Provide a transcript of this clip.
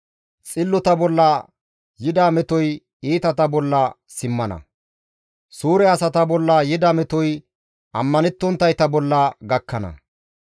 Xillota bolla yida metoy iitata bolla simmana; suure asata bolla yida metoy ammanettonttayta bolla gakkana.